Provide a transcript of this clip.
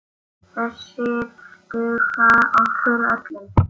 Þessir duga okkur öllum.